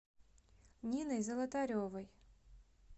ниной золотаревой